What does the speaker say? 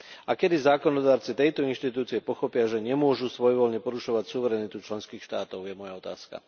A kedy zákonodarci tejto inštitúcie pochopia, že nemôžu svojvoľne porušovať suverenitu členských štátov? To je moja otázka.